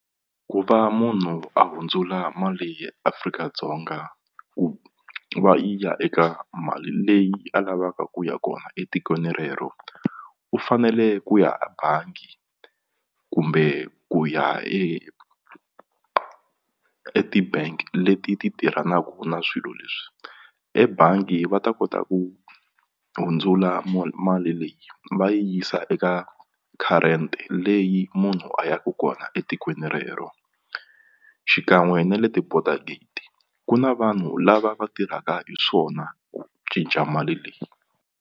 Ku va munhu a hundzula mali ya Afrika-Dzonga ku va yi ya eka mali leyi a lavaka ku ya kona etikweni rero u fanele ku ya a bangi kumbe ku ya e eti-bank leti ti tirhanaku na swilo leswi ebangi va ta kota ku hundzula mali leyi va yisa eka current leyi munhu a ya ku kona etikweni rero xikan'we ni le ti-border gate ku na vanhu lava va tirhaka hi swona ku cinca mali leyi.